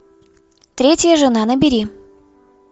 третья жена набери